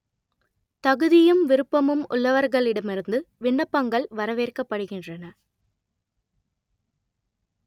தகுதியும் விருப்பமும் உள்ளவர்களிடமிருந்து விண்ணப்பங்கள் வரவேற்கப்படுகின்றன